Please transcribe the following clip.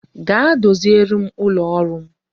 Gaa doziere m ụlọ ọrụ m